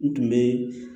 N tun bɛ